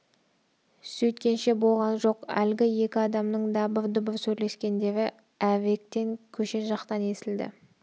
сөйткенше болған жоқ әлгі екі адамның дабыр-дұбыр сөйлескендері әріректен көше жақтан естілді